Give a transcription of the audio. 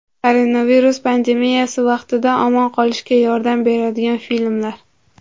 Koronavirus pandemiyasi vaqtida omon qolishga yordam beradigan filmlar.